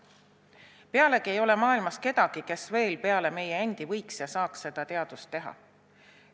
Pealegi ei ole maailmas kedagi, kes veel peale meie endi võiks ja saaks seda teadust teha.